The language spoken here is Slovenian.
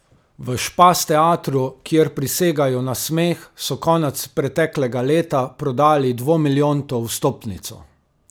V Špas teatru, kjer prisegajo na smeh, so konec preteklega leta prodali dvomilijonto vstopnico.